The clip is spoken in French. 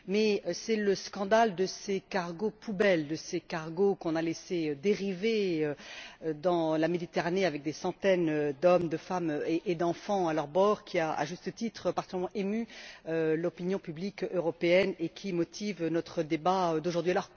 Mais c'est le scandale de ces cargos poubelles, de ces cargos qu'on a laissés dériver dans la Méditerranée avec des centaines d'hommes, de femmes et d'enfants à leur bord qui, à juste titre, a tant ému l'opinion publique européenne et qui motive notre débat d'aujourd'hui.